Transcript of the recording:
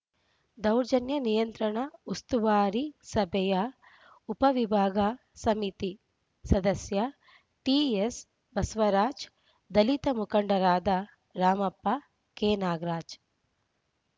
ದೌರ್ಜನ್ಯ ನಿಯಂತ್ರಣ ಉಸ್ತುವಾರಿ ಸಭೆಯ ಉಪವಿಭಾಗ ಸಮಿತಿ ಸದಸ್ಯ ಟಿಎಸ್‌ಬಸವರಾಜ್‌ ದಲಿತ ಮುಖಂಡರಾದ ರಾಮಪ್ಪ ಕೆನಾಗರಾಜ್‌